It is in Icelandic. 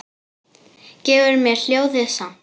Gefur mér ljóðið samt.